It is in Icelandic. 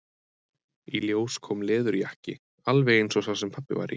Í ljós kom leðurjakki, alveg eins og sá sem pabbi var í.